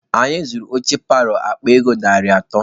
Anyị zụrụ oche paalọ akpa ego narị atọ.